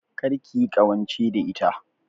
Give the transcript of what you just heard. Kar kiyi ƙawance da ita